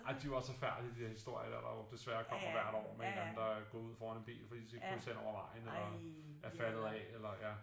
Ej men de jo også forfærdelige de der historier dér der jo desværre kommer hvert år med en eller anden der går ud foran en bil fordi de skal krydse hen over vejen eller er faldet af eller ja